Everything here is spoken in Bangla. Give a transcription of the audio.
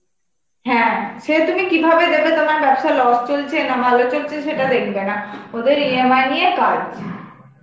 হ্যাঁ, সে তুমি কিভাবে দেবে তোমার ব্যবসার loss চলছে, না ভালো চলছে সেটা দেখবে না. ওদের EMI নিয়ে কাজ.